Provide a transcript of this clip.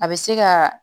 A bɛ se ka